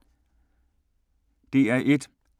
DR1